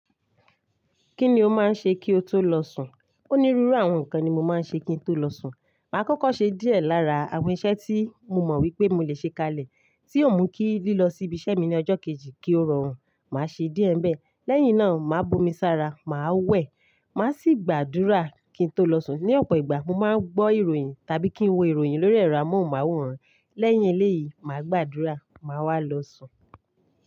Kí ni o máa ń ṣe kí o tó lọ sùn? Onírúurú àwọn nǹkan ni mo máa ń ṣe kí n tó lọ sùn. Mà á kọ́kọ́ ṣe díẹ̀ lára àwọn iṣẹ́ tí mo mọ̀ wípé mo lè ṣe kalẹ̀ tí ò mú kí lílọ sí ibi iṣẹ́ mi ní ọjọ́ kejì kí ó rọrùn, mà á ṣe díẹ̀ bẹ́ẹ̀. Lẹ́yìn náà, mà á bomi sára, mà á wẹ̀, mà á sì gbàdúrà kí n tó lọ sùn. Ni ọ̀pọ̀ ìgbà, mo máa ń gbọ́ ìròyìn tàbí kí n wo ìròyìn lórí ẹ̀rọ amóhùnmáwòrán. Lẹ́yìn eléyìí, mà á gbàdúrà, mà á wá lọ sùn.